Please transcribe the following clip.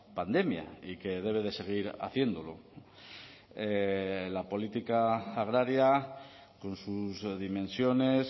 pandemia y que debe de seguir haciéndolo la política agraria con sus dimensiones